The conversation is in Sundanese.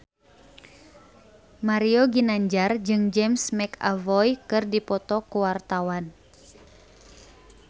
Mario Ginanjar jeung James McAvoy keur dipoto ku wartawan